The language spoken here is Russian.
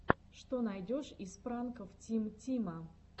что найдешь из пранков тим тима